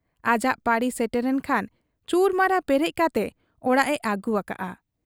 ᱟᱡᱟᱜ ᱯᱟᱹᱲᱤ ᱥᱮᱴᱮᱨᱮᱱ ᱠᱷᱟᱱ ᱪᱩᱨᱟᱹᱢᱟᱨᱟ ᱯᱮᱨᱮᱡ ᱠᱟᱛᱮ ᱚᱲᱟᱜ ᱮ ᱟᱹᱜᱩ ᱟᱠᱟᱜ ᱟ ᱾